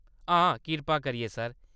हां, कृपा करियै, सर।